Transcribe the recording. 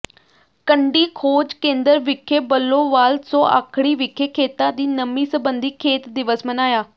ਕੰਢੀ ਖੋਜ ਕੇਂਦਰ ਵਿਖੇ ਬੱਲੋਵਾਲ ਸੌ ਾਖੜੀ ਵਿਖੇ ਖੇਤਾਂ ਦੀ ਨਮੀ ਸਬੰਧੀ ਖੇਤ ਦਿਵਸ ਮਨਾਇਆ